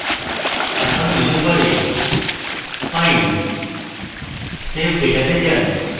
এখন মেনু বারে file> save data তে যান